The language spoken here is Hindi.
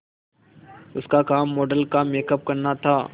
उसका काम मॉडल का मेकअप करना था